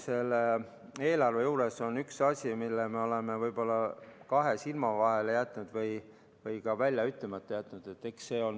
Selle eelarve juures on üks asi, mille me oleme võib-olla kahe silma vahele või välja ütlemata jätnud.